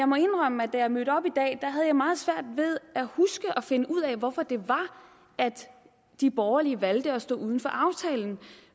må indrømme at da jeg mødte op i dag havde jeg meget svært ved at huske og finde ud af hvorfor det var at de borgerlige valgte at stå uden for aftalen